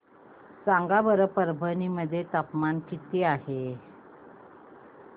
सांगा बरं परभणी मध्ये तापमान किती आहे